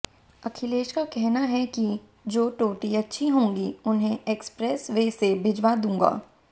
अखिलेश का कहना है कि जो टोटी अच्छी होंगी उन्हें एक्सप्रेस वे से भिजवा दूंगा